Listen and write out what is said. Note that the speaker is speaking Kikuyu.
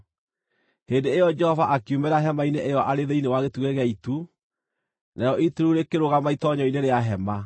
Hĩndĩ ĩyo Jehova akiumĩra Hema-inĩ ĩyo arĩ thĩinĩ wa gĩtugĩ gĩa itu, narĩo itu rĩu rĩkĩrũgama itoonyero-inĩ rĩa Hema.